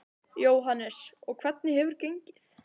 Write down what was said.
Jóhannes: Og hvernig hefur gengið?